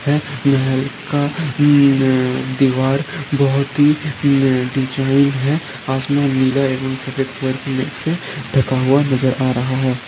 यह महल का दिवार बहुत ही निचाई है आसमान नीला एबम सफ़ेद बर्फीले जेसे ढका हुआ नजर आ रहा है।